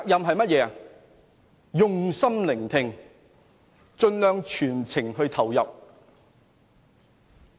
我們應用心聆聽，盡量全情投入。